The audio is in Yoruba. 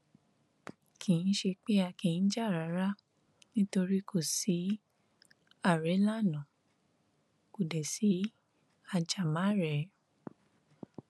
kì í ṣe pé a kì í jà rárá nítorí kò sí àrélànà kò dé sí ajàmàrèé